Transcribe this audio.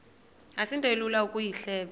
asinto ilula ukuyihleba